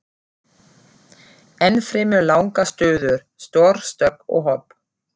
Ennfremur langar stöður, stór stökk og hopp.